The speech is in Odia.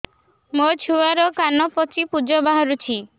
ମୋ ଛୁଆର କାନ ପାଚି ପୁଜ ବାହାରୁଛି